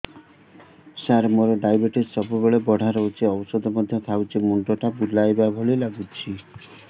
ସାର ମୋର ଡାଏବେଟିସ ସବୁବେଳ ବଢ଼ା ରହୁଛି ଔଷଧ ମଧ୍ୟ ଖାଉଛି ମୁଣ୍ଡ ଟା ବୁଲାଇବା ଭଳି ଲାଗୁଛି